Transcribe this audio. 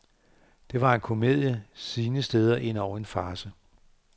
Det var en komedie, sine steder endog en farce.